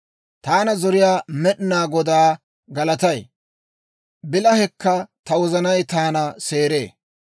Taana zoriyaa Med'inaa Godaa galatay; bilahekka ta wozanay taana seeree.